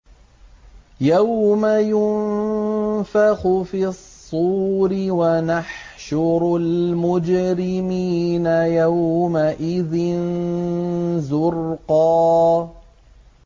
يَوْمَ يُنفَخُ فِي الصُّورِ ۚ وَنَحْشُرُ الْمُجْرِمِينَ يَوْمَئِذٍ زُرْقًا